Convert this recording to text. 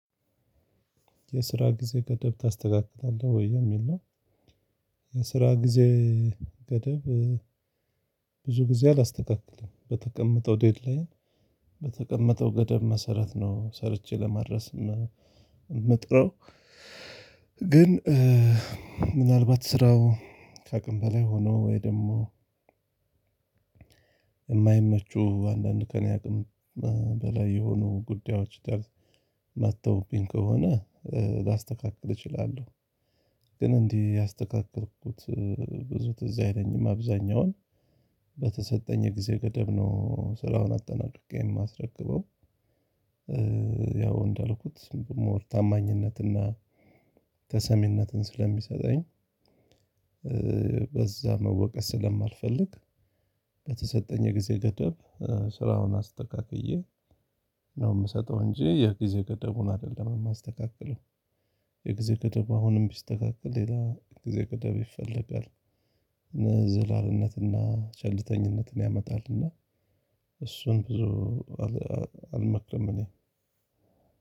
የስራ ጊዜ ገደብ ታስተካክላለህ ወይ የሚል ነው? የስራ ጊዜ ገደብ ብዙ ጊዜ አላስተካክልም በተቀመጠው ዴድላይን በተቀመጠው ገደብ መሰረት ነው ሰርቼ ለመድረስ የምጥረው። ግን። እ የስራ ጊዜ ገደብ ታስተካክላለህ ወይ የሚል ነው? የስራ ጊዜ ገደብ ብዙ ጊዜ አላስተካክልም በተቀመጠው ዴድላይን በተቀመጠው ገደብ መሰረት ነው ሰርቼ ለመድረስ የምጥረው። ግን እ ግን እንዲህ ያስተካከልኩት ብዙ ትዝ አይለኝም። አብዛኛውን በተሰጠኝ የጊዜ ገደብ ነው ስራውን አጠናቅቄ የማትረክበው። እ ያው እንዳልኩት ታማኝነትና ተሰሚነትን ስለሚሰጠኝ። እ በዛ መወቀስ ስለማልፈልግ። በተሰጠኝ የጊዜ ገደብ ስራውን አስተካክዬ ነው የምሰጠው እንጂ የጊዜ ገደቡን አይደለም የማስተካክለው። የጊዜ ገደብ አሁንም ቢስተካከል ሌላ የጊዜ ገደብ ይፈልጋል። እምነት እና ቸልተኝነትን ያመጣልና። እሱን ብዙ አልመክርም። እኔ